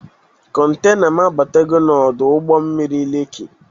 Kọntena m abatago n'ọdụ ụgbọ mmiri Leki.